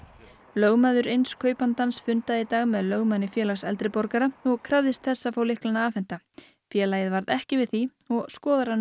lögmaður eins kaupandans fundaði í dag með lögmanni Félags eldri borgara og krafðist þess að fá lyklana afhenta félagið varð ekki við því og skoðar hann